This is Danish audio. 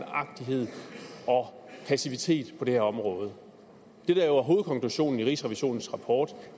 passivitet på det her område det der jo er hovedkonklusionen i rigsrevisionens rapport